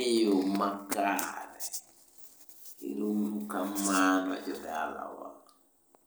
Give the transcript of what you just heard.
e yo makare, ero uru kamano jodalawa.